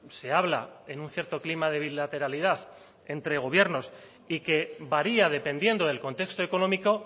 se habla en un cierto clima de bilateralidad entre gobierno y que varía dependiendo del contexto económico